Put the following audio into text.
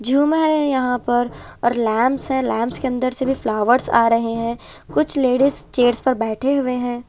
झूमर है यहां पर और लैंप्स हैं और लैंप्स के अंदर से भी फ्लावर्स आ रहे हैं कुछ लेडिस चेयर्स पर बैठे हुए हैं।